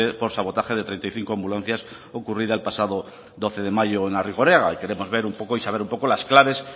por sabotaje de treinta y cinco ambulancias ocurrida el pasado doce de mayo en arrigorriaga y queremos ver un poco y saber un poco las claves